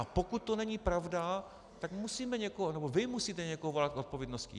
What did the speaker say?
A pokud to není pravda, tam musíme někoho, nebo vy musíte někoho volat k odpovědnosti.